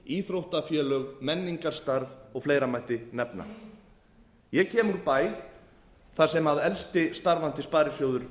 íþróttafélög menningarstarf og fleira mætti nefna ég kem úr bæ þar sem elsti starfandi sparisjóður